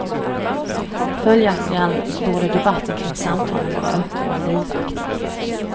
Följaktligen borde debatten kring samtalen vara öppen och livaktig.